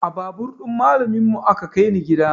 A babur ɗin malamin mu aka kai ni gida